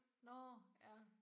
Nåh ja